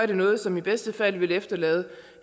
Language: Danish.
det noget som i bedste fald vil efterlade